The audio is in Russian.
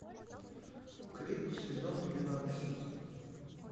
крик сезон двенадцать